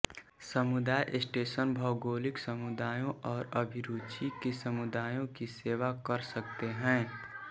समुदाय स्टेशन भौगोलिक समुदायों और अभिरुचि के समुदायों की सेवा कर सकते हैं